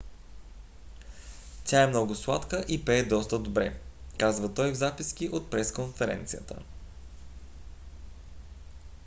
тя е много сладка и пее доста добре казва той в записки от пресконференцията